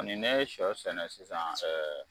Ani ne sɔ sɛnɛ sisan ɛɛ